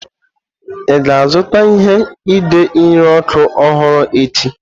Ị ga-azụta ihe ide nri ọkụ ọhụrụ echi?